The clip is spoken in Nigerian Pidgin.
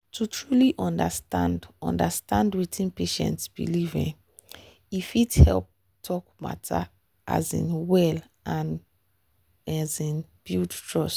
to truly understand understand wetin patient believe um e fit help talk matter um well and um build trust.